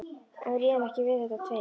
En við réðum ekki við þetta tveir.